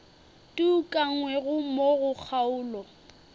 di ukangwego mo go kgaolo